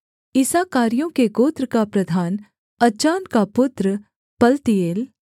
इस्साकारियों के गोत्र का प्रधान अज्जान का पुत्र पलतीएल